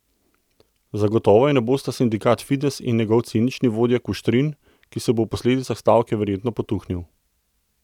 Zagotovo je ne bosta sindikat Fides in njegov cinični vodja Kuštrin, ki se bo ob posledicah stavke verjetno potuhnil.